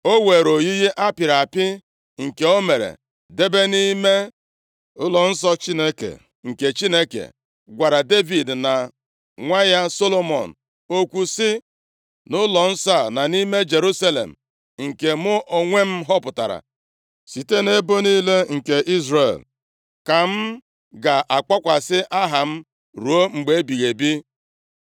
O were oyiyi apịrị apị nke o mere debe nʼime ụlọnsọ Chineke, nke Chineke gwara Devid na nwa ya Solomọn okwu sị, “Nʼụlọnsọ a na nʼime Jerusalem, nke mụ onwe m họpụtara site nʼebo niile nke Izrel, ka m ga-akpọkwasị Aha m ruo mgbe ebighị ebi.